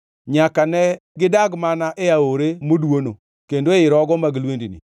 Nyaka ne gidag mana e aore modwono, kendo ei rogo mag lwendni.